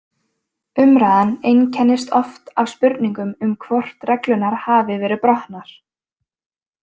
Umræðan einkennist oft af spurningum um hvort reglurnar hafi verið brotnar.